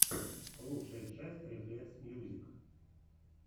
лучшая часть рефлексмьюзик